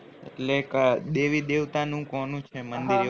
એટલે ક્યાં દેવી દેવતા નું કોનું છે મંદિર